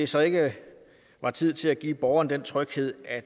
så ikke er tid til at give borgerne den tryghed at